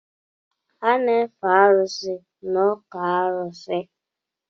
A na-efe arụsị n’ọkụ̣ arụsi